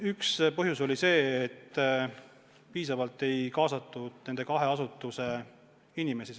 Üks põhjus oli see, et piisavalt ei kaasatud protsessi nende kahe asutuse inimesi.